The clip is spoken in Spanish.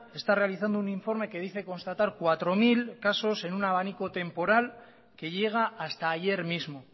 está realizando un informe que dice constatar cuatro mil casos en un abanico temporal que llega hasta ayer mismo